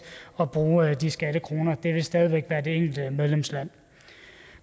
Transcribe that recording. og bruge de skattekroner det vil stadig væk være det enkelte medlemsland